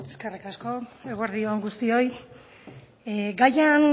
eskerrik asko eguerdi on guztioi gaian